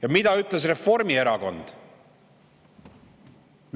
Ja mida ütles Reformierakond?